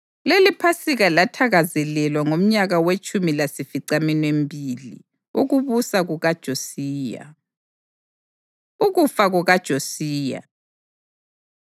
LeliPhasika lathakazelelwa ngomnyaka wetshumi lasificaminwembili mibili wokubusa kukaJosiya. Ukufa KukaJosiya